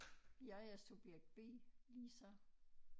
Jeg er subjekt B Lisa